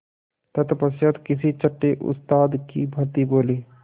तत्पश्चात किसी छंटे उस्ताद की भांति बोले